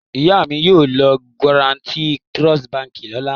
Ìyá mi yóò lọ Guaranty Trust Báńkì lọ́la.